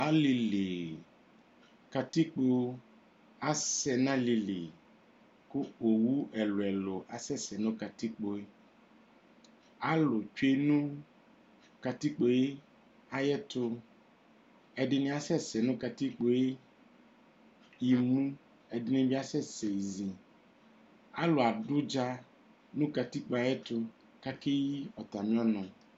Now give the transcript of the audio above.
Alili ,katikpo asɛ nʋ alili kʋ owu ɛlu ɛlu asɛsɛ nʋ katikpo yɛalu tsoe nʋ katikpo yɛ ayiʋ ɛtu ɛdini esɛsɛ nʋ katikpo yɛ imu, ɛdini bi asɛsɛ izialu adʋ ʋdza nʋ katikpo yɛ ayiʋ ɛtu , kʋ akeyi atami ɔnu